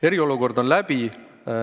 Eriolukord on läbi.